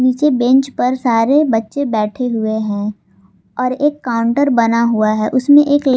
नीचे बेंच पर सारे बच्चे बैठे हुए हैं और एक काउंटर बना हुआ है उसमें एक--